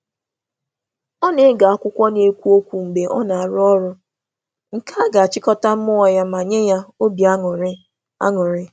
Ọ na-ege akwụkwọ olu ntị n’oge ọ na-arụ ọrụ ka uche ya uche ya dị njikere ma nwee ntụrụndụ.